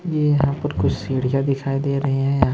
ये यहां पर कुछ सीढ़िया दिखाई दे रही हैं।